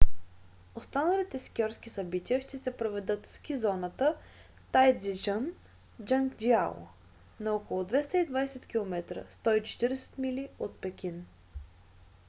останалите скиорски събития ще се проведат в ски зоната тайдзичън джанджиаку на около 220 км 140 мили от пекин